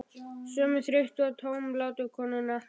Sömu þreyttu og tómlátu konuna?